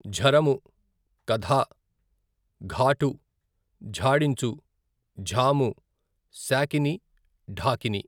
ఝరము, కధా, ఘాటు, ఝాడించు, ఝాము, శాకిని, ఢాకిని.